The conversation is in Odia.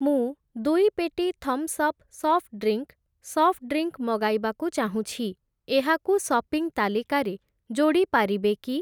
ମୁଁ ଦୁଇ ପେଟି Thums Up soft drink, soft drink ମଗାଇବାକୁ ଚାହୁଁଛି, ଏହାକୁ ସପିଂ ତାଲିକାରେ ଯୋଡ଼ି ପାରିବେ କି?